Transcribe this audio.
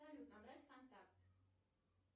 салют набрать контакт